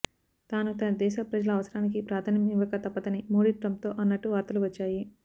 తాను తన దేశ ప్రజల అవసరానికి ప్రాధాన్యం ఇవ్వక తప్పదని మోడీ ట్రంప్తో అన్నట్టు వార్తలు వచ్చాయి